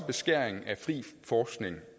beskæring af fri forskning